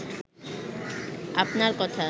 আপনার কথা